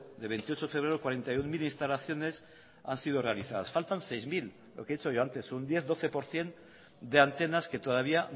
de veintiocho de febrero cuarenta y uno mil instalaciones han sido realizadas faltan sei mila lo que he dicho yo antes un diez doce por ciento de antenas que todavía